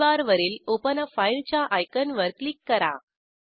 टूलबारवरील ओपन आ फाइल च्या आयकॉनवर क्लिक करा